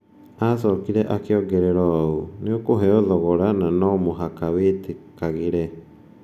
Agĩcoka akĩongerera ũũ: "Nĩ ũkũheo thogora, na no mũhaka wĩtĩkagĩre.